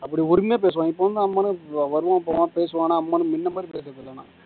அப்படி உரிமையா பேசுவாங்க இப்ப வந்து நம்மெல்லாம் வருவோம் போவாங்க பேசுவானா அம்மான்னு நின்ன மாரி பேசுறது இல்லண்ணா